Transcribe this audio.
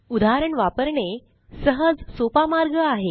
उदाहरण वापरणे सहजसोपा मार्ग आहे